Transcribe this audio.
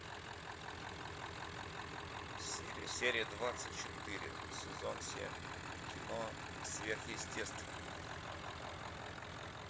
серия двадцать четыре сезон семь кино сверхъестественное